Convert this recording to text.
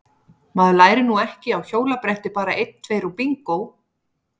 Maður lærir nú ekki á hjólabretti bara einn tveir og bingó!